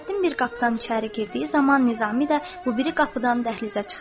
Fəxrəddin bir qapıdan içəri girdiyi zaman Nizami də bu biri qapıdan dəhlizə çıxdı.